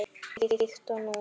Líkt og nú.